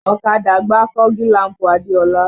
Ọ̀kadà gbá fọ́gi làm̀pù Adeola